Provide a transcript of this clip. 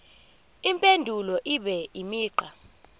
impendulo ibe imigqa